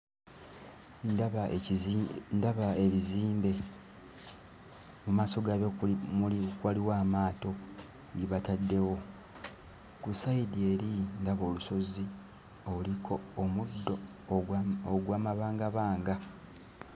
Ndaba ekizi ndaba ebizimbe. Mu maaso gaabyo waliwo amaato ge bataddewo. Ku sayidi eri ndaba olusozi oluliko omuddo ogw'amabangabanga.